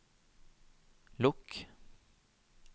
lukk